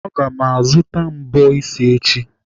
Aga azụta mbọ isi echi.